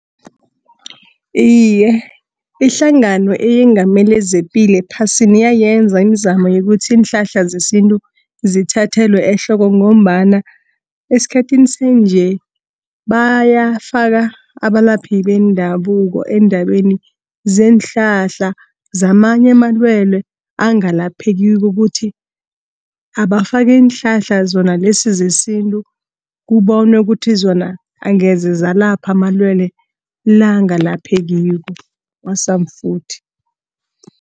Iye, ihlangano eyengamele zepilo ephasini yayenza iimzamo yokuthi iinhlahla zesintu zithathelwe ehloko, ngombana eskhathini sanje bayafaka abalaphi bendabuko eendabeni zeenhlahla zamanye amalwele angalaphekiko. Kuthi abafake iinhlahla zona lesi zesintu, kubonwe ukuthi zona angeze zalapha amalwele la, angalaphekiko kwasamfuthi.